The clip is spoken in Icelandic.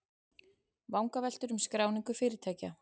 Vangaveltur um skráningu fyrirtækja